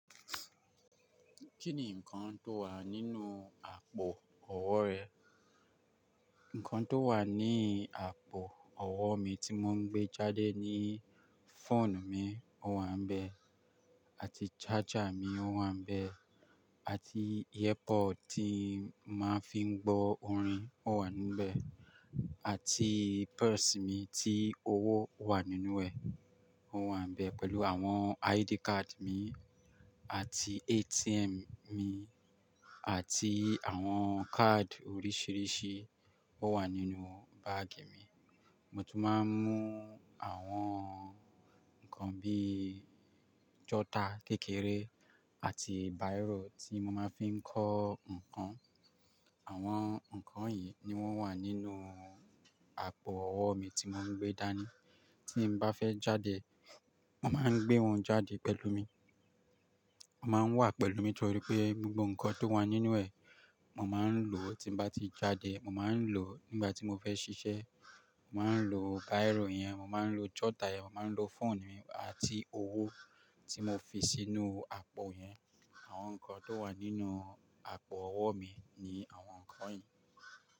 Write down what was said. Kí ni nǹkan tó wà nínú àpò ọwọ́ rẹ? Nǹkan tó wà ní àpò ọwọ́ mi tí mò ń gbé jáde ni fóònù mi ó wà níbẹ̀ àti charger mi ó wà níbẹ̀ àti airpod tí màá fi ń gbọ́ orin ó wà níbẹ̀ àti purse mi tí owó wà nínú ẹ̀ ó wà níbẹ̀ pẹ̀lú àwọn ID card mi àti ATM mi àti àwọn card oríṣìíríṣìí ó wà nínú bag mi. Mo tún máa ń mú àwọn nǹkan bí i jọ́tà kékeré àti bírò tí mo máa ń fi ń kọ́ nǹkan. Àwọn nǹkan yìí ni wọ́n wà nínú àpò ọwọ́ mi tí n maa ń gbé dání. Tí n bá fẹ́ jáde, mo màá ń gbé wọn jáde pẹ̀lú mi. Wọ́n máa ń wà pẹ̀lú mi torí pé gbogbo nǹkan tó wà nínú ẹ̀, mò máa ń lò ó tí mo bá ti jáde. Mò máa ń lò ó nígbà tí mo fẹ́ ṣiṣẹ́. Mò máa ń lo bírò yẹn, mò máa ń lo jọ́tà yẹn, mò máa ń lo fóònù mi àti owó tí mo fi sínú àpò yẹn. Àwọn nǹkan tó wà nínú àpò ọwọ́ mi ni àwọn nǹkan yìí.